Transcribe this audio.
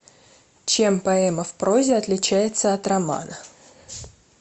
чем поэма в прозе отличается от романа